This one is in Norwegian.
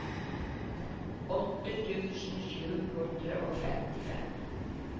åtte tusen sju hundre og femtifem